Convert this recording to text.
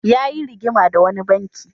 Yayi rigima da wani banki.